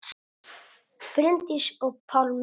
Bryndís og Pálmi.